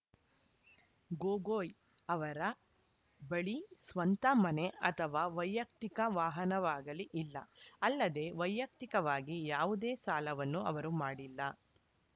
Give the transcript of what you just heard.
ಗೊಗೋಯ್‌ ಅವರ ಬಳಿ ಸ್ವಂತ ಮನೆ ಅಥವಾ ವೈಯಕ್ತಿಕ ವಾಹನವಾಗಲಿ ಇಲ್ಲ ಅಲ್ಲದೆ ವೈಯಕ್ತಿಕವಾಗಿ ಯಾವುದೇ ಸಾಲವನ್ನು ಅವರು ಮಾಡಿಲ್ಲ